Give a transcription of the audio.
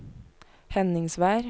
Henningsvær